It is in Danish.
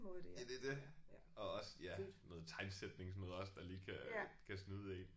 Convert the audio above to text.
Ja det er det. Og også ja noget tegnsætning sådan noget der også lige kan kan snyde en